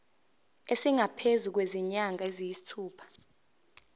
esingaphezu kwezinyanga eziyisithupha